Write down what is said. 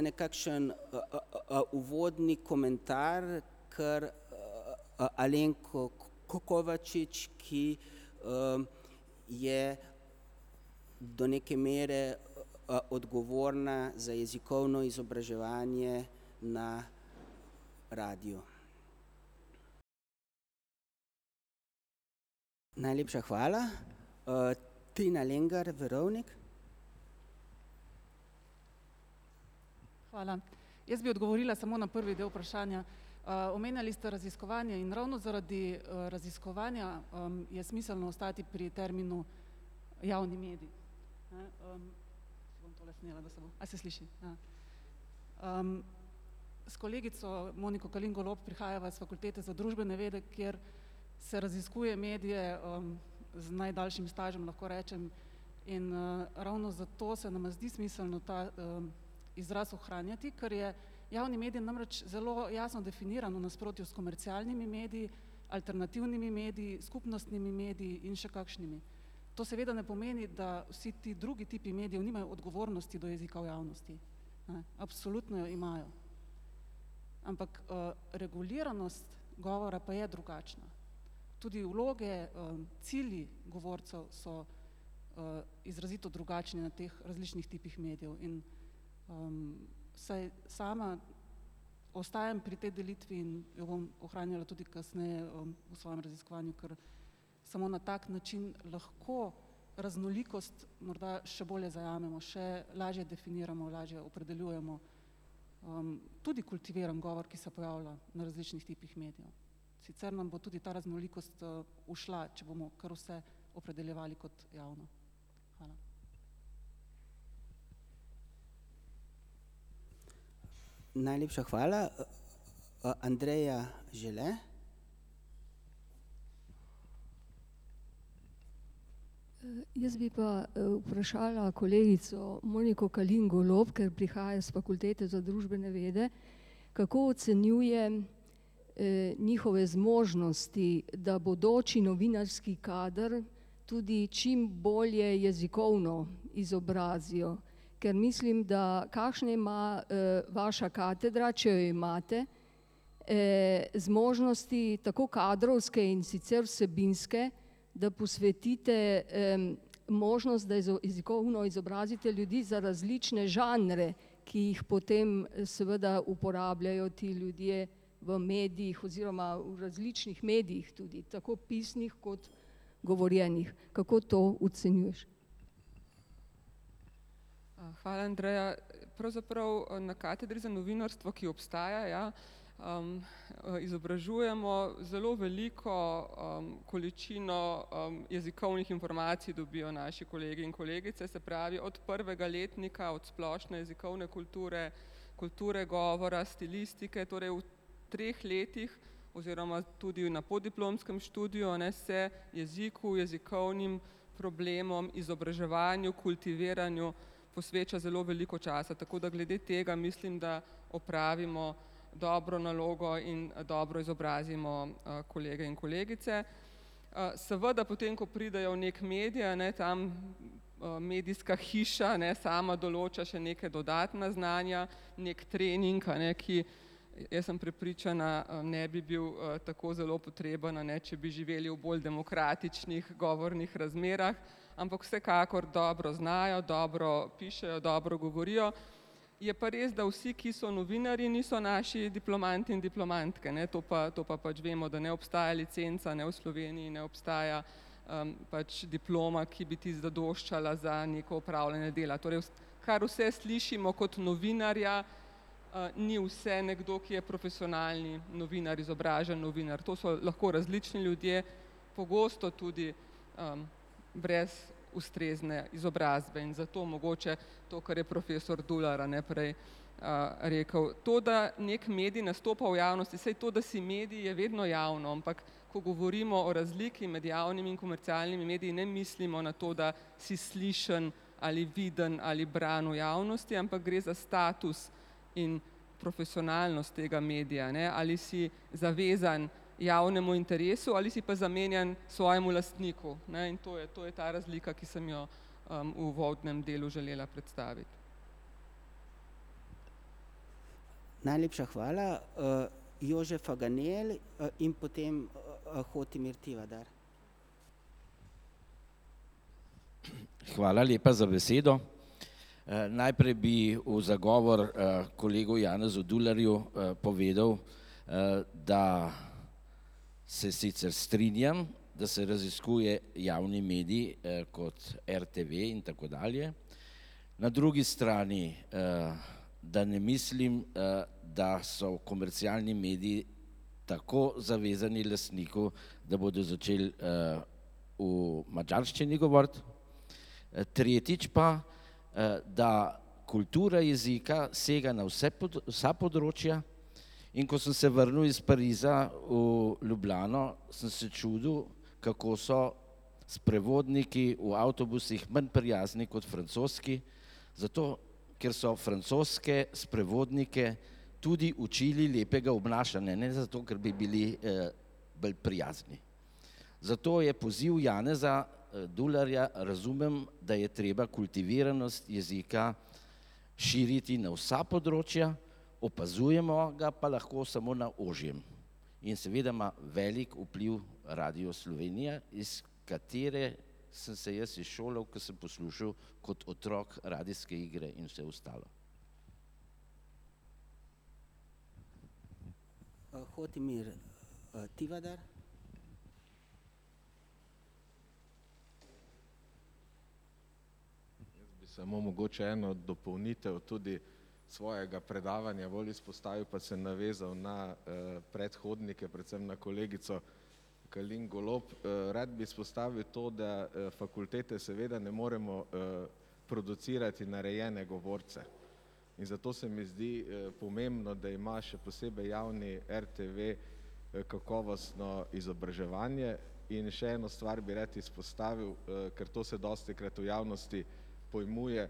nekakšen uvodni komentar, kar [ime in priimek] ,ki je do neke mere odgovorna za jezikovno izobraževanje na radiu. Najlepša hvala. [ime in priimek] Hvala. Jaz bi odgovorila samo na prvi del vprašanja. Omenjali ste raziskovanje in ravno zaradi raziskovanja je smiselno ostati pri terminu javni medij. Ne, Si bom tole snela, da se bo ... A se sliši? S kolegico [ime in priimek] prihajava s Fakultete za družbene vede, kjer se raziskuje medije z najdaljšim stažem, lahko rečem, in ravno zato se nam zdi smiselno ta izraz ohranjati, ker je javni medij namreč zelo jasno definiran v nasprotju s komercialnimi mediji, alternativnimi mediji, skupnostnimi mediji in še kakšnimi. To seveda ne pomeni, da vsi ti drugi tipi medijev nimajo odgovornosti do jezika v javnosti, ne, absolutno jo imajo. Ampak reguliranost govora pa je drugačna. Tudi vloge cilji govorcev so izrazito drugačni na teh različnih tipih medijev in vsaj sama ostajam pri tej delitvi in jo bom ohranjala tudi kasneje v svojem raziskovanju, ker samo na tak način lahko raznolikost morda še bolje zajamemo, še lažje definiramo, lažje opredeljujemo. Tudi kultiviran govor, ki se pojavlja na različnih tipih medijev. Sicer nam bo tudi ta raznolikost šla, če bomo kar vse opredeljevali kot javno. Hvala. Najlepša hvala, [ime in priimek]. Jaz bi pa vprašala kolegico [ime in priimek] , ker prihaja s Fakultete za družbene vede, kako ocenjuje njihove zmožnosti, da bodoči novinarski kader tudi čim bolje jezikovno izobrazijo. Ker mislim, da kakšne ima vaša katedra, če jo imate, zmožnosti tako kadrovske kot sicer vsebinske, da posvetite možnost, da jezikovno izobrazite ljudi za različne žanre, ki jih potem seveda uporabljajo ti ljudje v medijih oziroma v različnih medijih tudi, tako pisnih kot govorjenih. Kako to ocenjuješ? Hvala, Andreja. Pravzaprav na katedri za novinarstvo, ki obstaja, ja, izobražujemo, zelo veliko količino jezikovnih informacij dobijo naši kolegi in kolegice, se pravi od prvega letnika od splošne jezikovne kulture, kulture govora, stilistike, torej v treh letih oziroma tudi na podiplomskem študiju, a ne, se jeziku, jezikovnim problemom, izobraževanju, kultiviranju posveča zelo veliko časa, tako da glede tega mislim, da opravimo dobro nalogo in dobro izobrazimo kolege in kolegice. Seveda potem, ko pridejo v neki medij, a ne, tam medijska hiša, ne, sama določa še neka dodatna znanja, neki trening, a ne, ki, jaz sem prepričana, ne bi bil tako zelo potreben, a ne, če bi živeli v bolj demokratičnih govornih razmerah. Ampak vsekakor dobro znajo, dobro pišejo, dobro govorijo. Je pa res, da vsi, ki so novinarji, niso naši diplomanti in diplomantke, ne, to pa, to pa pač vemo, da ne obstaja licenca, ne, v Sloveniji ne obstaja, pač diploma, ki bi ti zadoščala za neko opravljanje dela, torej kar vse slišimo kot novinarja, ni vse, nekdo, ki je profesionalni novinar, izobražen novinar, to so lahko različni ljudje, pogosto tudi brez ustrezne izobrazbe in zato mogoče to, kar je profesor Dular, a ne, prej rekel. To, da neki medij nastopa v javnosti, saj to, da si medij, je vedno javno, ampak ko govorimo o razliki med javnimi in komercialnimi mediji ne mislimo na to, da si slišen ali viden ali bran v javnosti, ampak gre za status in profesionalnost tega medija, ne, ali si zavezan javnemu interesu ali si pa zamenjan svojemu lastniku, ne, in to je, to je ta razlika, ki sem jo v uvodnem delu želela predstaviti. Najlepša hvala, [ime in priimek] in potem [ime in priimek] . Hvala lepa za besedo. Najprej bi v zagovor kolegu [ime in priimek] povedal, da se sicer strinjam, da se raziskuje javni medij kot RTV in tako dalje, na drugi strani, da ne mislim da so komercialni mediji tako zavezani lastniku, da bodo začeli v madžarščini govoriti. Tretjič pa, da kultura jezika sega na vsa področja, in ko sem se vrnil iz Pariza v Ljubljano, sem se čudil, kako so sprevodniki v avtobusih manj prijazni kot francoski, zato ker so francoske sprevodnike tudi učili lepega obnašanja, ne zato, ker bi bili bolj prijazni. Zato je poziv [ime in priimek] razumem, da je treba kultiviranost jezika širiti na vsa področja, opazujemo ga pa lahko samo na ožjem. In seveda ima velik vpliv Radio Slovenija, iz katere sem se jaz izšolal, ko sem poslušal kot otrok radijske igre in vse ostalo. [ime in priimek]. Samo mogoče eno dopolnitev tudi svojega predavanja bolj izpostavil pa se navezal na predhodnike, predvsem na kolegico Kalin Golob. Rad bi izpostavil to, da fakultete seveda ne moremo producirati narejene govorce. In zato se mi zdi pomembno, da ima še posebej javni RTV kakovostno izobraževanje, in še eno stvar bi rad izpostavil, ker to se dostikrat v javnosti pojmuje,